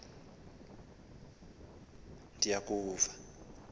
ewe ndiyakuva ngxabane